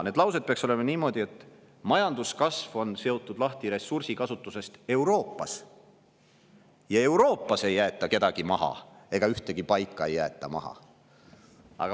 Need laused peaksid olema niimoodi, et majanduskasv on seotud lahti ressursikasutusest Euroopas ning Euroopas ei jäeta kedagi maha ja ühtegi paika ei jäeta maha.